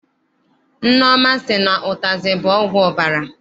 Nneọma sị na ụtazị bụ ọgwụ ọbara.